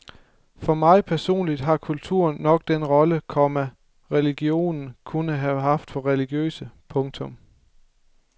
For mig personligt har kulturen nok den rolle, komma religionen kunne have for religiøse. punktum